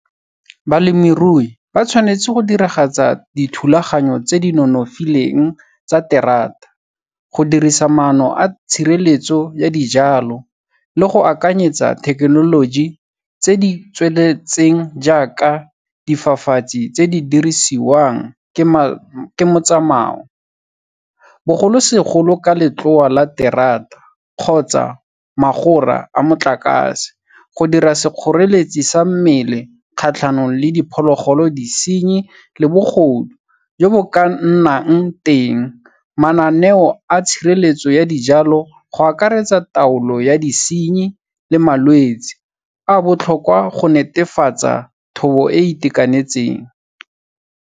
Balemirui ba tshwanetse go diragatsa dithulaganyo tse di nonofileng tsa terata, go dirisa maano a tshireletso ya dijalo le go akanyetsa thekenoloji tse di tsweletseng jaaka difafatsi tse di dirisiwang, ke motsamao, bogolosegolo ka letloa la terata kgotsa magora a motlakase, go dira sekgoreletsi sa mmele kgatlhanong le diphologolo, disenyi le bogodu jo bo ka nang teng. Mananeo a tshireletso ya dijalo go akaretsa taolo ya disenyi le malwetsi a botlhokwa go netefatsa thobo e e itekanetseng.